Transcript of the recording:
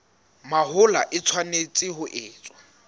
mahola e tshwanetse ho etswa